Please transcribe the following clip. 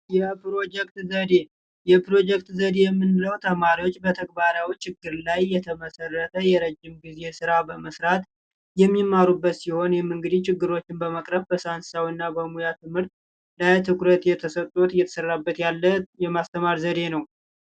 የፕሮጀክት የምንለው ተማሪዎች በተግባራዊ ችግር ላይ የተመሰረተ ጊዜ ስራ በመስራት የሚማሩበት ሲሆን ችግሮችን በማቅረብ በሙያ ትምህርት ትኩረት የተሰጡት የተሰራበት ያለ የማስተማር ዘዴ ነው